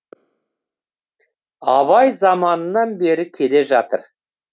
абай заманынан бері келе жатыр